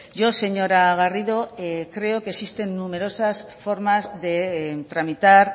yo señora garrido creo que existen numerosas formas de tramitar